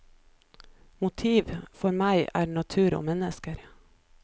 Motiv, for meg, er natur og mennesker.